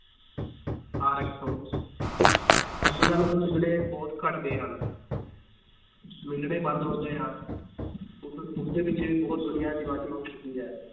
ਅੱਜ ਕੱਲ੍ਹ ਉਹ ਮਿਲਣੇ ਬਹੁਤ ਘੱਟ ਗਏ ਹਨ ਮਿਲਣੇ ਬੰਦ ਹੋ ਗਏ ਹਨ ਉਸ ਉਸਦੇ ਪਿੱਛੇ ਵੀ ਬਹੁਤ ਦੁਨੀਆਂ ਦੀਵਾਨੀ ਹੋ ਚੁੱਕੀ ਹੈ